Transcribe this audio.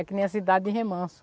É que nem a cidade de Remanso.